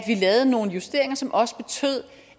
lavede nogle justeringer som også betød